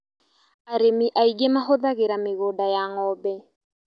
Arĩmi aingĩ mahũthagĩra mĩgũnda ya ng'ombe